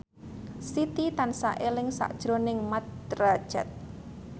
Siti tansah eling sakjroning Mat Drajat